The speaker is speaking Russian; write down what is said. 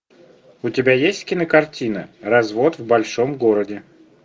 у тебя есть кинокартина развод в большом городе